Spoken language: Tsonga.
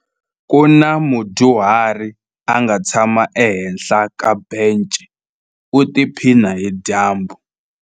Ku na mudyuhari a nga tshama ehenhla ka bence u tiphina hi dyambu.